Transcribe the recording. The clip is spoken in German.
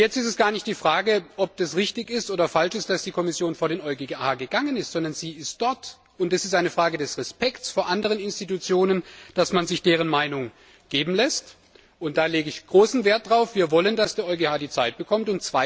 Jetzt ist es gar nicht die Frage, ob das richtig ist oder falsch ist, dass die Kommission vor den EuGH gegangen ist, sondern sie ist dort, und es ist eine Frage des Respekts vor anderen Institutionen, dass man sich deren Meinung geben lässt und da lege ich großen Wert darauf, wir wollen, dass der EuGH die notwendige Zeit bekommt.